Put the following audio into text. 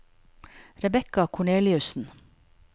Rebecca Korneliussen